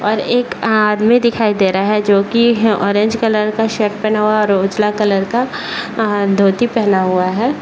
और एक आदमी दिखाई दे रहा है जो की ऑरेंज कलर का शर्ट पेहना हुआ है और उजला कलर का अ धोती पेहना हुआ है।